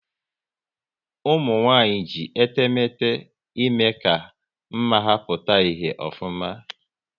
Ụmụnwanyị ji etemete ime ka mma ha pụta ìhè ofuma